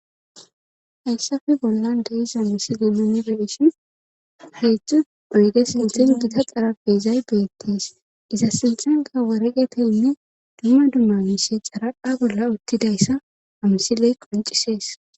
hayssafe bollan de'iza misile nunibeshin heedzdzu oyge sinthen gita xara beezay beettis iza sinthanka waregeteinne dumma dumma mise xaradha bolla uttidayssa amsiley qoncisees